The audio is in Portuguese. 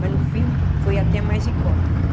Mas, no fim, foi até mais em conta.